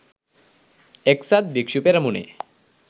එක්සත් භික්‍ෂු පෙරමුණේ